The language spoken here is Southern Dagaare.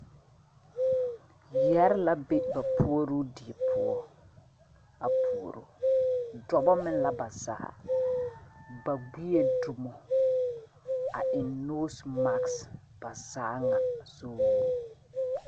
Yɛre la be ba puoroo die poɔa puoro dɔba meŋ la ba zaa ba gbie dumo a eŋ nose mask ba zaa ŋa soo.